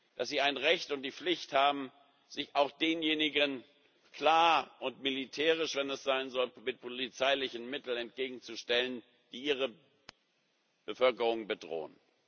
Dass sie das Recht und die Pflicht haben, sich auch denjenigen klar und wenn es sein soll militärisch mit polizeilichen Mitteln entgegenzustellen, die ihre Bevölkerung bedrohen.